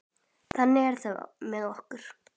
Þannig er það með okkur.